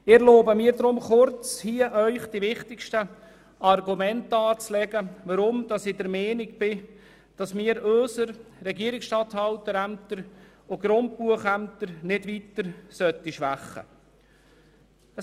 Ich erlaube mir darum, Ihnen kurz die wichtigsten Argumente darzulegen, weshalb ich der Meinung bin, dass wir unsere Regierungsstatthalterämter und Grundbuchämter nicht weiter schwächen sollten.